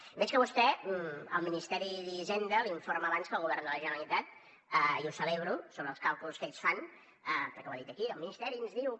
veig que a vostè el ministeri d’hisenda la informa abans que al govern de la generalitat i ho celebro sobre els càlculs que ells fan perquè ho ha dit aquí el ministeri ens diu que